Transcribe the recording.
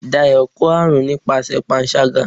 Dayo kọ arún nipasẹ pánṣagá